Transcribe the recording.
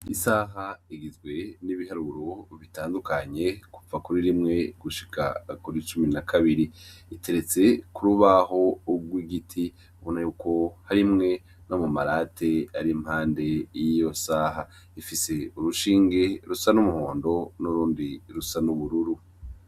Isaha igizwe n'ibiharuro bitandukanye kuva kuri rimwe gushika kuri icumi na kabiri iteretse ko rubaho urwo igiti bona yuko harimwe no mumarate ari mpande y'iyo saha ifise urushinge rusa n'umuhondo n'urundi rusa n'ubururu.